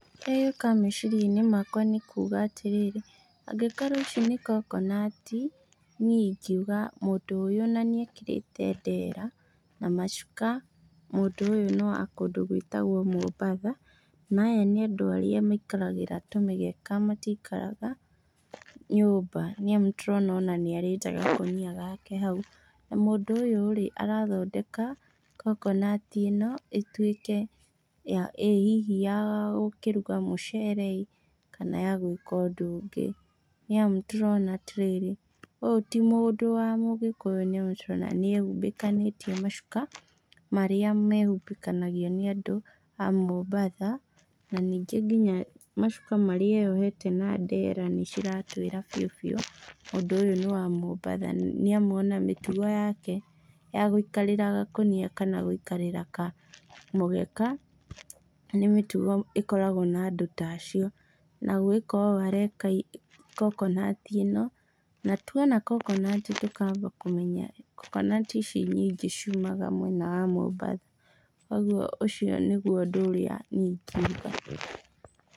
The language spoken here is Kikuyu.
Kĩrĩa gĩũkaga mecirianĩ makwa nĩ kuga atĩrĩrĩ, angĩkorwo ici nĩ kokonati, niĩ ingiuga mũndũ ũyũ na nĩekĩrĩte ndera na macuka, mũndũ ũyũ nĩ wa kũndũ gwĩtagwo Mombatha, na aya nĩ andũ arĩa maikaragĩra tũmĩgeka, matikaraga nyũmba nĩamu nĩtũrona nĩarĩte gakũnia gake hau na mũndũ ũyũ-rĩ, arathondeka kokonati ĩno ĩtuĩke, hihi ya gũkĩruga mũcere ĩ kana ya gwĩka ũndũ ũngĩ nĩ amu nĩtũrona atĩrĩrĩ ũyũ ti mũndũ wa ũgĩkũyũ tondũ nĩtũrona nĩehumbĩkanĩtie macuka marĩa mehumbĩkanagio nĩ andũ a Mombatha na ningĩ nginya macuka marĩa e ohete na ndera nĩ iratwĩra biũ biũ mũndũ ũyũ nĩ wa Mombatha nĩamu ona mĩtugo yake ya gũikarĩra gakũnia kana gũikarĩra kamũgeka nĩ mĩtugo ĩkoragwo na andũ ta acio na gwika ũũ areka kokonati ĩno, na tuona kokonati tũkamba kũmenya kokonati ici nyingĩ ciumaga mwena wa Mombatha koguo ũcio nĩguo ũndũ ũrĩa niĩ ingiuga.